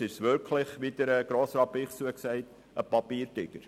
Ansonsten ist es wirklich, wie Grossrat Bichsel gesagt hat, ein Papiertiger.